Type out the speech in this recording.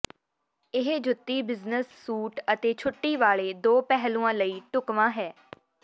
ਇਹ ਜੁੱਤੀ business suit ਅਤੇ ਛੁੱਟੀ ਵਾਲੇ ਦੋ ਪਹਿਲੂਆਂ ਲਈ ਢੁਕਵਾਂ ਹੈ